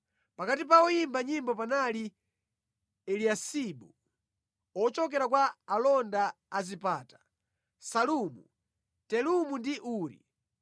Pakati pa oyimba nyimbo panali Eliyasibu. Ochokera kwa alonda a zipata: Salumu, Telemu ndi Uri.